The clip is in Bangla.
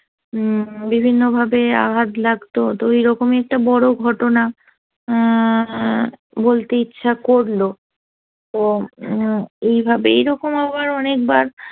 হম বিভিন্নভাবে আঘাত লাগতো তো ওইরকম একটা বড় ঘটনা অ্যা বলতে ইচ্ছা করলো করলো তো এইভাবে আবার অনেকবার